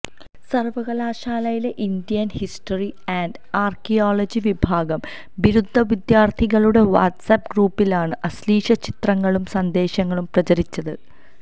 സർവകലാശാലയിലെ Indian history and archaeology വിഭാഗം ബിരുദ വിദ്യാർത്ഥികളുടെ വാട്സാപ്പ് ഗ്രൂപ്പിലാണ് അശ്ലീലചിത്രങ്ങളും സന്ദേശങ്ങളും പ്രചരിച്ചത്